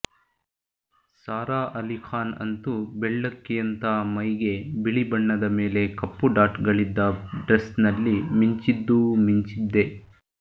ಸಾರಾ ಆಲಿಖಾನ್ ಅಂತೂ ಬೆಳ್ಳಕ್ಕಿಯಂಥಾ ಮೈಗೆ ಬಿಳಿ ಬಣ್ಣದ ಮೇಲೆ ಕಪ್ಪು ಡಾಟ್ಗಳಿದ್ದ ಡ್ರೆಸ್ನಲ್ಲಿ ಮಿಂಚಿದ್ದೂ ಮಿಂಚಿದ್ದೇ